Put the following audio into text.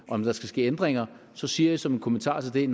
om der skal ske ændringer så siger jeg som en kommentar til det